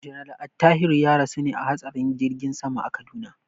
General Attahiru ya rasu a hatsarin jirgin sama a Kaduna.